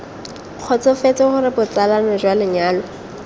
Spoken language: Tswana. kgotsofetse gore botsalano jwa lenyalo